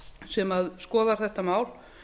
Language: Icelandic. sem skoðar þetta mál